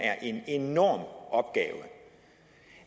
er en enorm opgave